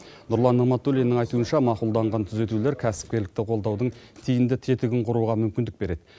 нұрлан нығматуллиннің айтуынша мақұлданған түзетулер кәсіпкерлікті қолдаудың тиімді тетігін құруға мүмкіндік береді